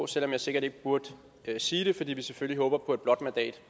selv om jeg sikkert ikke burde sige det fordi vi selvfølgelig håber på et blåt mandat